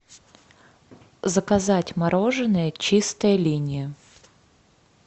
заказать мороженое чистая линия